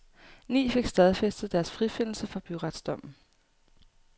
Ni fik stadfæstet deres frifindelse fra byretsdommen.